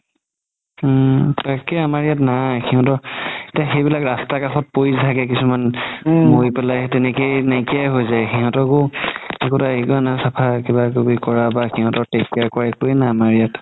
তাকেই আমাৰ ইয়াত নাই সিহতৰ সেইবিলাক ৰাস্তা কাষত পৰি থাকে কিছুমান মৰি পেলাই তেনেকেই নাইকিয়াই হয় যাই সিহতকও একোতা চাফা কিবাকিবি কৰা বা সিহতৰ take care কৰা একোৱে নাই আমাৰ ইয়াত